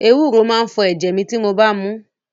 Ewúro máa fọ ẹ̀jẹ̀ mi tí mo bá muú.